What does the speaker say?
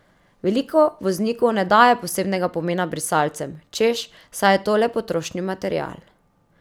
Veliko voznikov ne daje posebnega pomena brisalcem, češ saj je to le potrošni material.